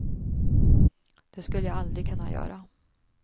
Det skulle jag aldrig kunna göra.